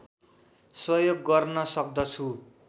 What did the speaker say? सहयोग गर्न सक्दछु